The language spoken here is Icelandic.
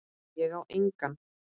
Ég á enga.